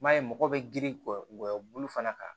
I m'a ye mɔgɔw bɛ girin kɔyɔ bulu fana kan